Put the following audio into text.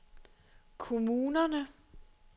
kommunerne